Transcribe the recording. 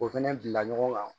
O fɛnɛ bila ɲɔgɔn kan